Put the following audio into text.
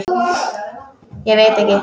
Ég veit ekki